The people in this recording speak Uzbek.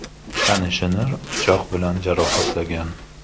tanishini pichoq bilan jarohatlagan.